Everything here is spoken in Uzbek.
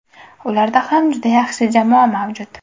Ularda ham juda yaxshi jamoa mavjud.